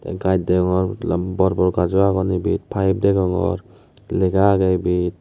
gaaz deongor lum bor bor gazo agon ibet paif degongor lega agey ibet.